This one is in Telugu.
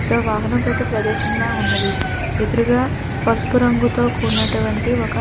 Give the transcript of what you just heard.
ఇక్కడ వాహనం బైట ప్రదేశంలా ఉన్నది ఎదురుగా పసుపు రంగుతో కూడినటివంటి ఒక